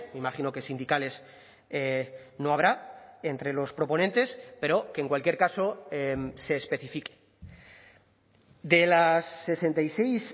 imagino que sindicales no habrá entre los proponentes pero que en cualquier caso se especifique de las sesenta y seis